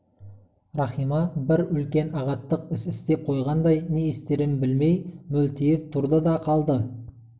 рахима бір үлкен ағаттық іс істеп қойғандай не істерін білмей мөлиіп тұрды да қалды